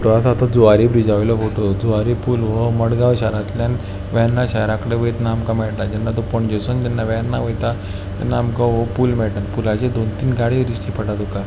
हो आसा तो जुवारी ब्रीजावयलो फोटो जुवारी पुल व्हो मडगांव शहरात्ल्यान वेर्ना शहराकडेन वयतना आमका मेळता जेन्ना तो पणजेसुन जेन्ना वेर्ना वयता तेन्ना आमका व्हो पुल मेळता. पुलाचे दोन तीन गाडीयो दिश्टी पडता तुका.